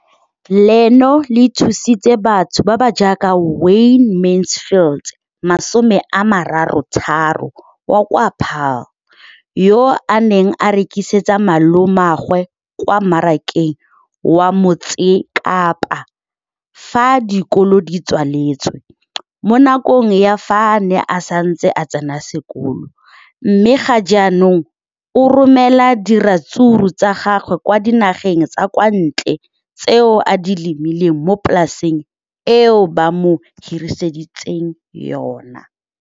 Leno le thusitse batho ba ba jaaka Wayne Mansfield, 33, wa kwa Paarl, yo a neng a rekisetsa malomagwe kwa Marakeng wa Motsekapa fa dikolo di tswaletse, mo nakong ya fa a ne a santse a tsena sekolo, mme ga jaanong o romela diratsuru tsa gagwe kwa dinageng tsa kwa ntle tseo a di lemileng mo polaseng eo ba mo hiriseditseng yona.